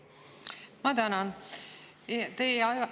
Ma tänan!